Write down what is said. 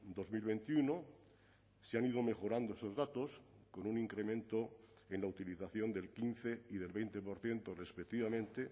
dos mil veintiuno se han ido mejorando esos datos con un incremento en la utilización del quince y del veinte por ciento respectivamente